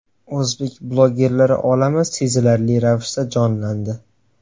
O‘zbek bloggerlari olami sezilarli ravishda jonlandi.